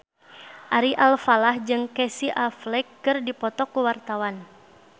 Ari Alfalah jeung Casey Affleck keur dipoto ku wartawan